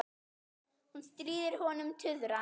Hún stríðir honum tuðran.